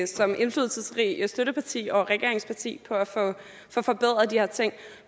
som indflydelsesrigt støtteparti og regeringsparti på at få forbedret de her ting